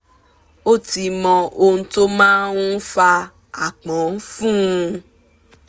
ó ti mọ ohun tó máa ń fa aápọn fún un